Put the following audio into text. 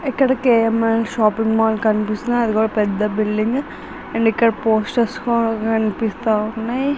ఇక్కడ KLM shopping mall కనిపిస్తున్నాయి అదికూడా పెద్ద బిల్డింగు అండ్ ఇక్కడ పోస్టర్స్ కూడా కనిపిస్త వున్నాయ్.